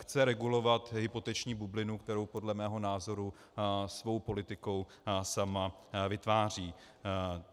Chce regulovat hypoteční bublinu, kterou podle mého názoru svou politikou sama vytváří.